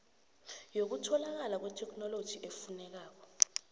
yokutholakala kwetheknoloji efunekako